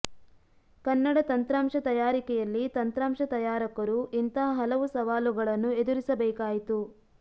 ಕನ್ನಡ ತಂತ್ರಾಂಶ ತಯಾರಿಕೆಯಲ್ಲಿ ತಂತ್ರಾಂಶ ತಯಾರಕರು ಇಂತಹ ಹಲವು ಸವಾಲುಗಳನ್ನು ಎದುರಿಸಬೇಕಾಯಿತು